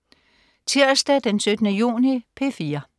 Tirsdag den 17. juni - P4: